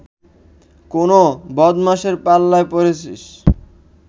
কোন বদমাশের পাল্লায় পড়েছিস